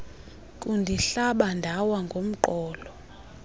kundihlaba ndawa ngomqolo